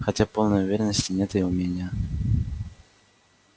хотя полной уверенности нет и у меня